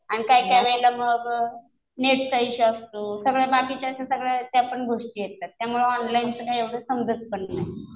आणि काय काय वेळेला मग नेटचा इश्यू असतो. सगळ्या बाकीच्या अशा सगळ्या त्या पण गोष्टी येतात. त्यामुळं ऑनलाइनचं काय एवढं समजत पण नाही.